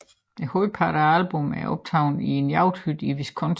Hovedparten af albummet er optaget i en jagthytte i Wisconsin